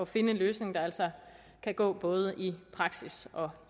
finde en løsning der altså kan gå både i praksis og